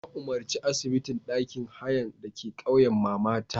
Nayi umarci asibitin ɗakin hayan dake ƙauyan mamata.